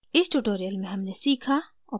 इस tutorial में हमने सीखा: